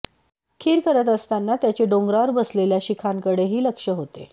खीर करत असताना त्याचे डोंगरावर बसलेल्या शिखांकडेही लक्ष होते